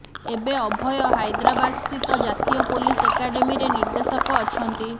ଏବେ ଅଭୟ ହାଇଦ୍ରାବାଦସ୍ଥିତ ଜାତୀୟ ପୋଲିସ ଏକାଡେମୀରେ ନିର୍ଦ୍ଦେଶକ ଅଛନ୍ତି